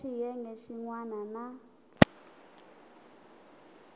ka xiyenge xin wana na